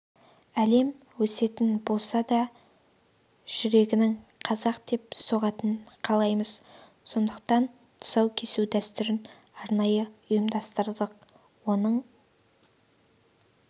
әлем өсетін болса да жүрегінің қазақ деп соққанын қалаймыз сондықтан тұсау кесу дәстүрін арнайы ұйымдастырдық оның